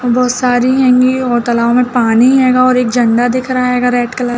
बहुत सारी हैंगी और तलाब में पानी हैंगा और एक झंडा दिख रहा हेगा रेड कलर --